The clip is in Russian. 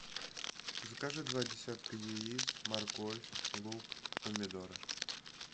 закажи два десятка яиц морковь лук помидоры